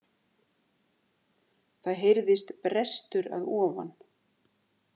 Það heyrðist brestur að ofan.